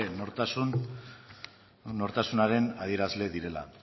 nortasunaren adierazle direla